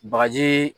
Bagaji